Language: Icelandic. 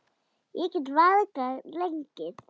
Ég get varla gengið.